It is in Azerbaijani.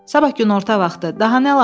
Sabah günorta vaxtı, daha nə lazımdır?